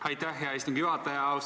Aitäh, hea istungi juhataja!